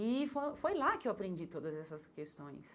E fo foi lá que eu aprendi todas essas questões.